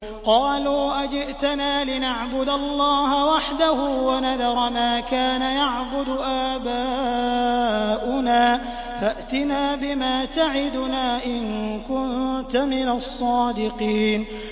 قَالُوا أَجِئْتَنَا لِنَعْبُدَ اللَّهَ وَحْدَهُ وَنَذَرَ مَا كَانَ يَعْبُدُ آبَاؤُنَا ۖ فَأْتِنَا بِمَا تَعِدُنَا إِن كُنتَ مِنَ الصَّادِقِينَ